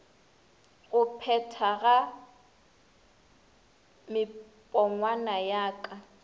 go phethagatpa mepongwana ya ka